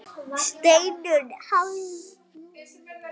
Hlupum svo niður í brekku.